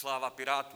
Sláva Pirátům!